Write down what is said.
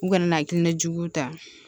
U kana hakilina juguw ta